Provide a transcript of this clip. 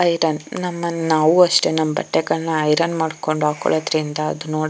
iron ನಾವು ಅಷ್ಟೇ ನಮ್ಮ ಬಟ್ಟೆಗಳನ್ನು ಐರನ್ ಮಾಡ್ಕೊಂಡು ಹಾಕೊಳೋದ್ರಿಂದ ಅದು ನೋಡಕೆ --